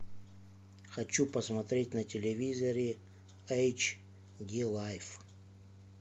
хочу посмотреть на телевизоре эйч ди лайф